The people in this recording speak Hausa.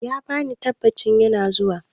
He gave the assurance, he is coming.